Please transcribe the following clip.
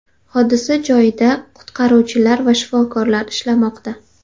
Hodisa joyida qutqaruvchilar va shifokorlar ishlamoqda.